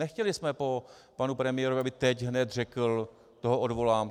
Nechtěli jsme po panu premiérovi, aby teď hned řekl: Toho odvolám.